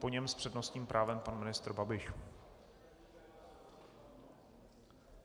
Po něm s přednostním právem pan ministr Babiš.